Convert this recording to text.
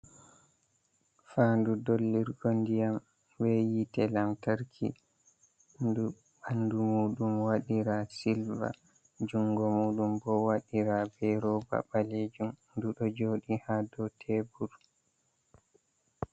Fan'du dollirgo ndiyam be hiite lantarki ndu ɓanɗu muum waɗira be silva jungo muɗum bo waɗira be ruba balejum ndu do joɗi ha do tebur.